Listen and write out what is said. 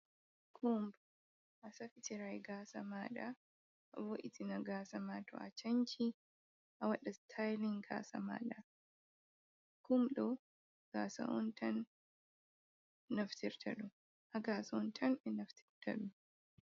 Kumb a safitiray gasa maɗa, a bo’itina gasa ma to a canci a waɗa staylin gasa maɗa, kum ɗo gasa on tan ɓe naftirta ɗum.